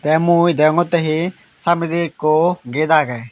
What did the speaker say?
te mui degongotte he samnendi ekko ged agey.